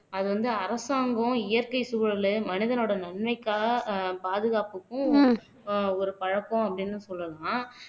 அது வந்து அரசாங்கம் இயற்கை சூழலு மனிதனோட நன்மைக்காக பாதுகாப்புக்கும் ஒரு பழக்கம் அப்படின்னு சொல்லலாம்